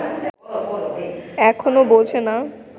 এখনো বোঝে না